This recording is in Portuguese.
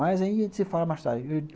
Mas aí a gente se fala mais tarde.